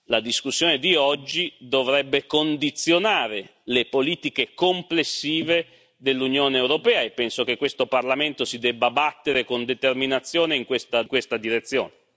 La discussione di oggi dovrebbe condizionare le politiche complessive dell'Unione europea e penso che questo Parlamento si debba battere con determinazione in questa direzione.